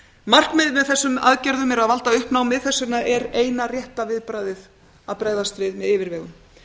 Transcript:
markmiðið með þessum aðgerðum er að valda uppnámi þess vegna er eina rétta viðbragðið að bregðast við með yfirvegun